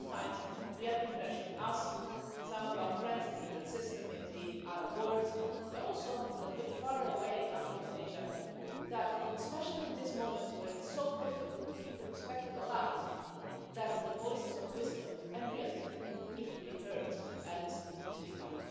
Because sometimes we have the impression as do some of our friends in the UN system, in the Arab world, but also a little bit farther away in Africa and Asia that especially in this moment where it is so difficult to keep the perspective alive, that the voices of wisdom and realism need to be heard and need to speak up.